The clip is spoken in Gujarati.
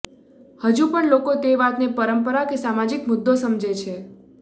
હજુ પણ લોકો તે વાતને પરંપરા કે સામાજિક મુદ્દો સમજે છે